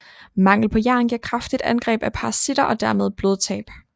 Mangel på jern giver kraftigt angreb af parasitter og dermed blodtab